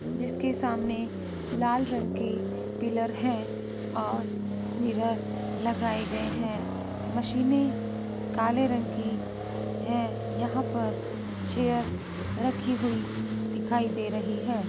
जिसके सामने लाल रंग के पिलर हैं और मिरर लगाए गए हैं मशीनें काले रंग की हैं यहां पर चेयर रखी हुई दिखाई दे रही है।